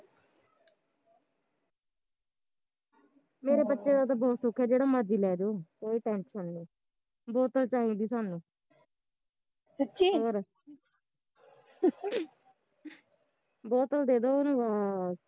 ਮੇਰੇ ਬੱਚਿਆ ਦਾ ਤਾਂ ਬਹੁਤ ਸੋਖਾ ਐ ਜਿਹੜਾ ਮਰਜ਼ੀ ਲੈਜੋ, ਕੋਈ tension ਨੀ ਬੋਤਲ ਚਾਈਦੀ ਸਾਨੂੰ ਹੋਰ ਬੋਤਲ ਦੇਦੋ ਓਹਨੂੰ ਬਸ